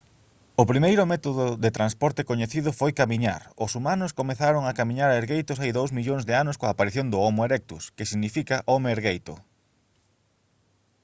o primeiro método de transporte coñecido foi camiñar; os humanos comezaron a camiñar ergueitos hai dous millóns de anos coa aparición do homo erectus que significa «home ergueito»